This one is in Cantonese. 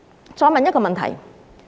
我再提出一個問題。